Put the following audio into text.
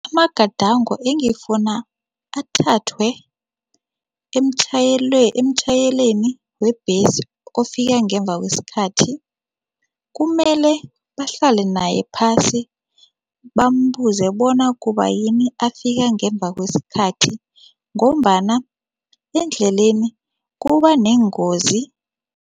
Amagadango engifunda athathwe emtjhayeleni webhesi ofika ngemva kwesikhathi, kumele bahlale naye phasi bambuze bona kubayini afika ngemva kwesikhathi ngombana endleleni kuba neengozi.